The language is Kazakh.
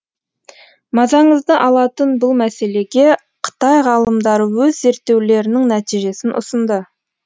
мазаңызды алатын бұл мәселеге қытай ғалымдары өз зерттеулерінің нәтижесін ұсынды